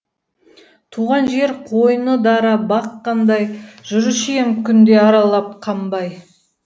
туған жер қойны дара бақ қандай жүруші ем күнде аралап қанбай